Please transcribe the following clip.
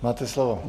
Máte slovo.